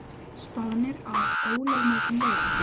Staðnir að ólögmætum veiðum